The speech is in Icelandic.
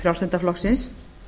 frjálslynda flokksins